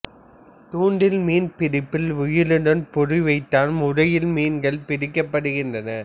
தூண்டில் மீன்பிடிப்பில் உயிருடன் பொறி வைத்தல் முறையில் மீன்கள் பிடிக்கப்படுகின்றன